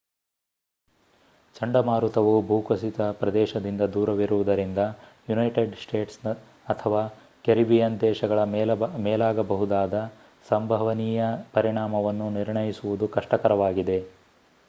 ಚಂಡಮಾರುತವು ಭೂಕುಸಿತದ ಪ್ರದೇಶದಿಂದ ದೂರವಿರುವುದರಿಂದ ಯುನೈಟೆಡ್ ಸ್ಟೇಟ್ಸ್ ಅಥವಾ ಕೆರಿಬಿಯನ್ ದೇಶಗಳ ಮೇಲಾಗಬಹುದಾದ ಸಂಭವನೀಯ ಪರಿಣಾಮವನ್ನು ನಿರ್ಣಯಿಸುವುದು ಕಷ್ಟಕರವಾಗಿದೆ